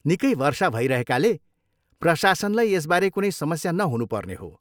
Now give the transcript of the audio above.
निकै वर्षा भइरहेकाले, प्रशासनलाई यसबारे कुनै समस्या नहुनु पर्ने हो।